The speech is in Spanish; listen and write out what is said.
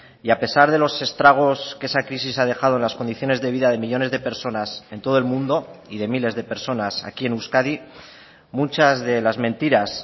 y a pesar de los estragos que esa crisis ha dejado en las condiciones de vida de millónes de personas en todo el mundo y de miles de personas aquí en euskadi muchas de las mentiras